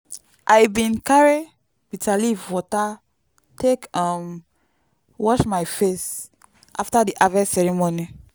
i bin carry bitterleaf water take um wash my face after the harvest ceremony